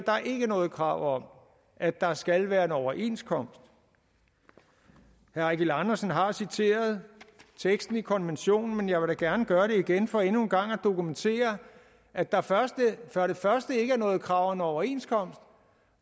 noget krav om at der skal være en overenskomst herre eigil andersen har citeret teksten i konventionen men jeg vil gerne gøre det igen for endnu en gang at dokumentere at der for det første ikke er noget krav om en overenskomst